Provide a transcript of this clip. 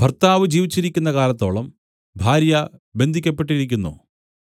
ഭർത്താവ് ജീവിച്ചിരിക്കുന്ന കാലത്തോളം ഭാര്യ ബന്ധിയ്ക്കപ്പെട്ടിരിക്കുന്നു